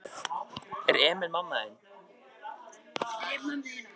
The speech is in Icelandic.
Stelpa á aldur við Emil kom fram í dyrnar.